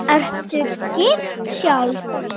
Ertu gift sjálf?